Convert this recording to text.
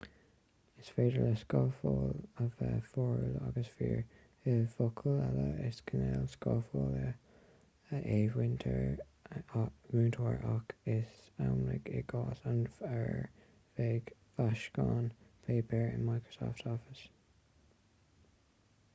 is féidir le scafláil a bheith fíorúil agus fíor i bhfocail eile is cineál scaflála é múinteoir ach is amhlaidh i gcás an fhir bhig fáiscín páipéir in microsoft office